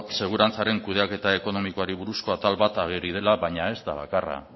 segurantzaren kudeaketa ekonomikoari buruzko atal bat ageri dela baina ez da bakarra